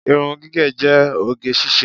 Irun gígẹ̀ jẹ́ oge ṣíṣe.